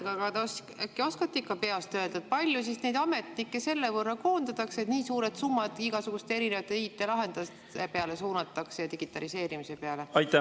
Äkki ikka oskate peast öelda, kui palju ametnikke tänu sellele koondatakse, et nii suured summad igasugusteks IT-lahendusteks, digitaliseerimiseks suunatakse?